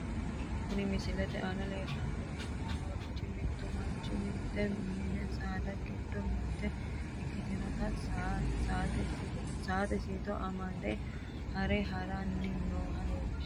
Kuni misilete aana leellanni noorichi mittu manchi mitte mini saada giddo mitte ikkitinota saate siito amade haare haranni nooha leellishshanno .